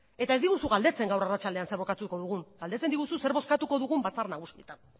eta ez diguzu galdetzen gaur arratsaldean zer bozkatuko dugun galdetzen diguzu zer bozkatuko dugun batzar nagusietan